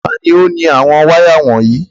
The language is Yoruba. Ta ni ó ni àwọn wáyà wọ̀nyí?